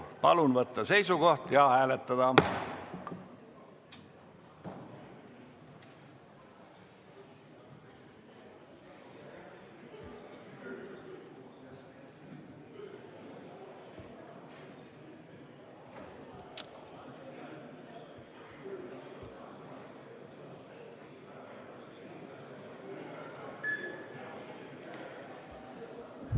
Palun võtta seisukoht ja hääletada!